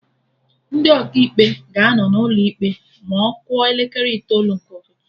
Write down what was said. Ndị Ọkaikpe ga-anọ n'ụlọ ikpe ma ọ kụọ elekere itoolu nke ụtụtụ